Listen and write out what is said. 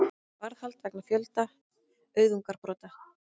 Varðhald vegna fjölda auðgunarbrota